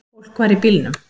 Fólk var í bílnum.